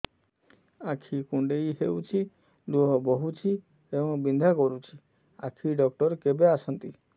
ଆଖି କୁଣ୍ଡେଇ ହେଉଛି ଲୁହ ବହୁଛି ଏବଂ ବିନ୍ଧା କରୁଛି ଆଖି ଡକ୍ଟର କେବେ ଆସନ୍ତି